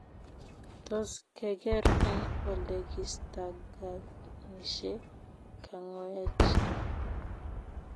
Tos keeger eng olekistaganishe kangoech ra?